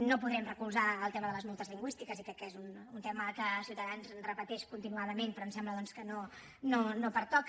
no podrem recolzar el tema de les multes lingüístiques i crec que és un tema que ciutadans repeteix continuadament però em sembla doncs que no pertoca